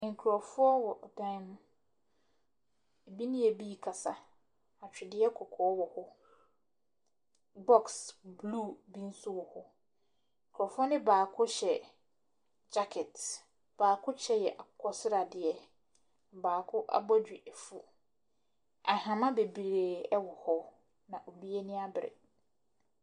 Nkorɔfoɔ wɔ dan mu. Ɛbi ne ɛbii kasa. Atwedeɛ kɔkɔɔ wɔ hɔ. Bɔks bluu bi nso wɔ hɔ. Nkorɔfoɔ no baako hyɛ gyakɛt. Baako kyɛ yɛ akokosradeɛ. Baako abɔdwe afu. Ahama bebree ɛwɔ hɔ na obiaa ani abre.